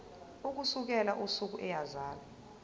ukusukela usuku eyazalwa